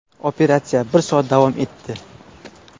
Operatsiya bir soat davom etdi.